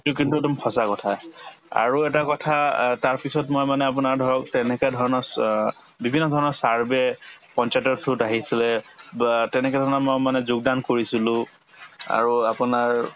কিন্তু একদম সঁচা কথা আৰু এটা কথা অ তাৰপিছত মই মানে আপোনাৰ ধৰক তেনেকা ধৰণৰ চ অ বিভিন্ন ধৰণৰ survey পঞ্চায়তৰ through ত আহিছিলে বা তেনেকে ধৰণৰ মই মানে যোগদান কৰিছিলো আৰু আপোনাৰ